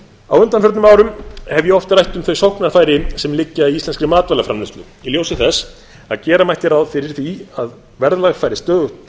á undanförnum árum hef ég oft rætt um þau sóknarfæri sem liggja í íslenskri matvælaframleiðslu í ljósi þess að gera mætti ráð fyrir stöðugt